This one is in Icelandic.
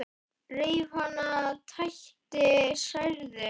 Reif hana, tætti, særði.